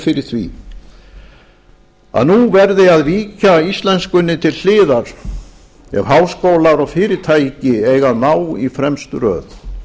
fyrir því að nú verði að víkja íslenskunni til hliðar ef háskólar og fyrirtæki eiga að ná í fremstu röð